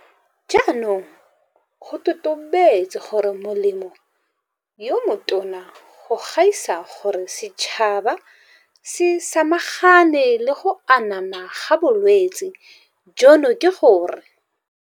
Jaanong go totobetse gore molemo yo motona go gaisa gore setšhaba se samagane le go anama ga bolwetse jono ke gore